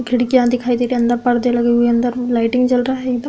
खिड़कियां दिखाई दे रही अंदर पर्दे लगे हुए हैं अंदर लाइटिंग जल रहा है। एकदम --